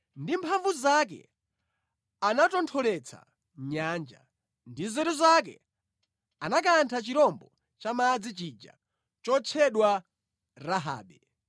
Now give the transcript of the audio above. Ndi mphamvu zake anatontholetsa nyanja; ndi nzeru zake anakantha chirombo cha mʼmadzi chija chotchedwa Rahabe.